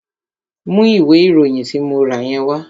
Mú ìwé ìròyìn tí mo rà yẹn wá!